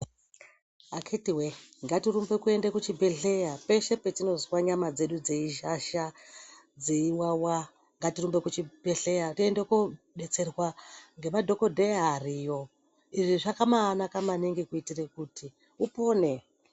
Akiti we ngatirumbe kuenda kuchibhedhlera peshe patinozwa nyama dzedu dzeizhazha dzeiwawa ngatirumbe kuchibhedhlera toenda kodetserwa nemadhokodheya ariyo izvi zvakabanaka maningi kuti upone.